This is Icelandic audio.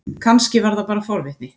Kannski var það bara forvitni.